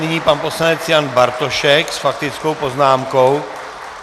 Nyní pan poslanec Jan Bartošek s faktickou poznámkou.